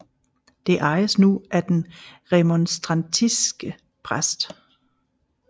Det ejes nu af den remonstrantiske prœst